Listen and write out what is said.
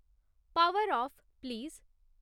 power off please